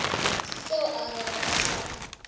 seo a bego a sa